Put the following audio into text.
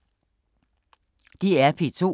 DR P2